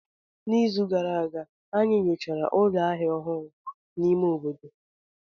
N'izu gara aga, anyị nyochara ụlọ ahịa ọhụrụ n'ime obodo.